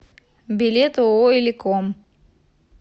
билет ооо иликом